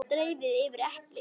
Dreifið yfir eplin.